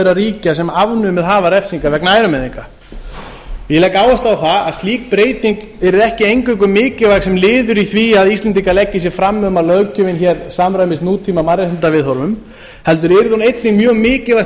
þeirra ríkja sem afnumið hafa refsingar vegna ærumeiðinga ég legg áherslu á að slík breyting yrði ekki eingöngu mikilvæg sem liður í því að íslendingar leggi sig fram um að löggjöfin hér samrýmist nútíma mannréttindaviðhorfum heldur yrði hún einnig mjög mikilvægt